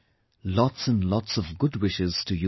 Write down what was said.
Lots and lots of good wishes to you all